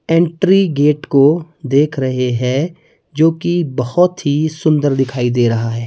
Entry gate को देख रहे हैं जोकि बहोत ही सुंदर दिखाई दे रहा है।